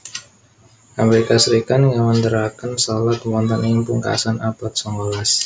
Amerika Serikat ngawéntaraken salad wonten ing pungkasan abad songolas